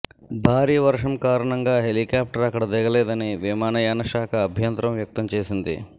భారీ వర్షం కారణంగా హెలికాప్టర్ అక్కడ దిగలేదని విమానయానశాఖ అభ్యంతరం వ్యక్తం చేసింది